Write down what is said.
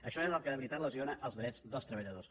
això és el que de veritat lesiona els drets dels treballadors